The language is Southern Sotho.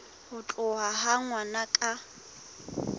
ho tholwa ha ngwana ka